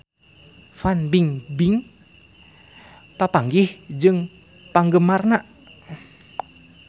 Fan Bingbing papanggih jeung penggemarna